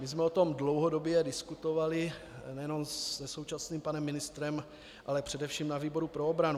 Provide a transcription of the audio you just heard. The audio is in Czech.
My jsme o tom dlouhodobě diskutovali nejenom se současným panem ministrem, ale především na výboru pro obranu.